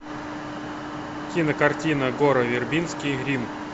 кинокартина гора вербински рим